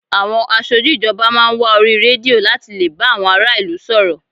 Àwọn aṣojú ìjọba máa ń wá orí rédíò láti lè bá àwọn ará ìlú sọ̀rọ̀